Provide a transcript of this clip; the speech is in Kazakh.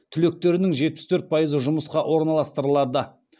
түлектерінің жетпіс төрт пайызы жұмысқа орналастырылады